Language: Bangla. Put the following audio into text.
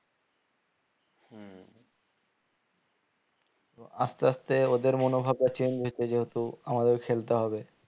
আস্তে আস্তে ওদের মনভাবনা change হচ্ছে যেহেতু আমাদের খেলতে হবে